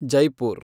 Jaipur